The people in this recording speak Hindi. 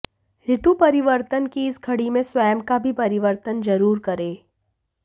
ऋतु परिवर्तन की इस घड़ी में स्वयं का भी परिवर्तन जरूर करें